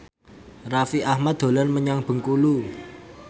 Raffi Ahmad dolan menyang Bengkulu